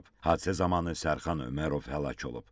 Hadisə zamanı Sərxan Ömərov həlak olub.